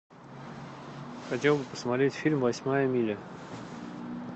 хотел бы посмотреть фильм восьмая миля